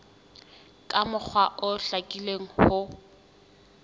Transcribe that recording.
ka mokgwa o hlakileng ho